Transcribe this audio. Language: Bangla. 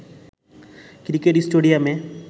ক্রিকেট স্টেডিয়ামে